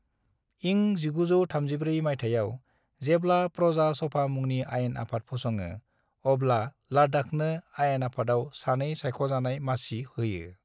इं 1934 माइथायाव जेब्ला प्रजा सभा मुंनि आयेन आफाद फसङो, अब्ला लद्दाखनो आयेन आफादाव सानै सायख'जानाय मसि होयो।